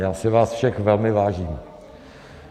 Já si vás všech velmi vážím.